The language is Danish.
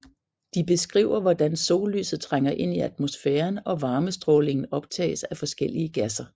De beskriver hvordan sollyset trænger ind i atmosfæren og varmestrålingen optages af forskellige gasser